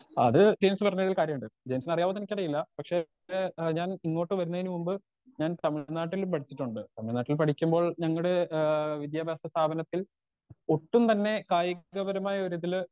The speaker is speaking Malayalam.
സ്പീക്കർ 2 അത് ജെയിംസ് പറഞ്ഞതില് കാര്യമുണ്ട് ജെയിംസിനറിയാവോന്നെനിക്കറിയില്ല പക്ഷെ ഞാൻ ഇങ്ങോട്ട് വരുന്നേന് മുന്നേ ഞാൻ തമിഴ്നാട്ടിൽ പഠിച്ചിട്ടുണ്ട് തമിഴ്നാട്ടിൽ പഠിക്കുമ്പോൾ ഞങ്ങടെ ആ വിദ്യാഭ്യാസ സ്ഥാപനത്തിൽ ഒട്ടും തന്നെ കായികപരമായ ഒരുതില്.